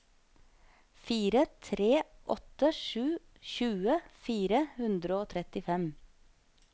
fire tre åtte sju tjue fire hundre og trettifem